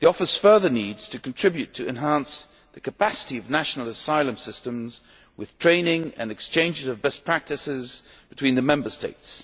EASO further needs to contribute to enhancing the capacity of national asylum systems with training and exchanges of best practices between the Member States.